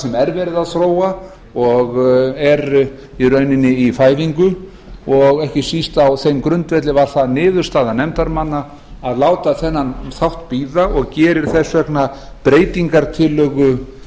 sem er verið að þróa og er í rauninni í fæðingu og ekki síst á þeim grundvelli varð það niðurstaða nefndarmanna að láta þennan þátt bíða og gerir þess vegna breytingartillögu